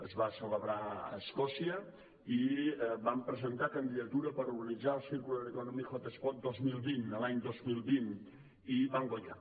es va celebrar a escòcia i vam presentar candidatura per organitzar el circular economy hotspot el dos mil vint l’any dos mil vint i vam guanyar